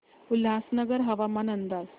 उल्हासनगर हवामान अंदाज